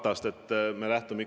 Aitäh, hea istungi juhataja!